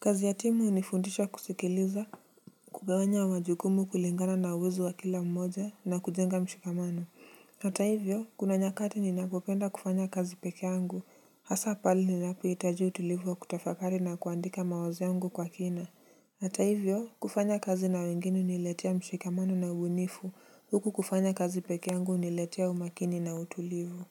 Kazi ya timu hunifundisha kusikiliza, kugawanya majukumu kulingana na uwezo wa kila mmoja na kujenga mshikamano. Hata hivyo, kuna nyakati ninapopenda kufanya kazi peke yangu. Hasa pale ninapohitaju utulivu wa kutafakari na kuandika mawazo yangu kwa kina. Hata hivyo, kufanya kazi na wengine huniletea mshikamano na ubunifu. Huku kufanya kazi peke yangu huniletea umakini na utulivu.